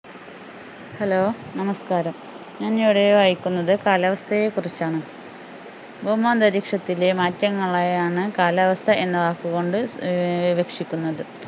hello നമസ്കാരം ഞാനിവിടെ വായിക്കുന്നത് കാലാവസ്ഥയെ കുറിച്ചാണ് ഭൗമാന്തരീക്ഷത്തിലെ മാറ്റങ്ങളെയാണ് കാലാവസ്ഥ എന്ന വാക്കുകൊണ്ട് ഏർ ഉദ്ദേശിക്കുന്നത്